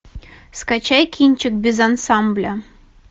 скачай кинчик без ансамбля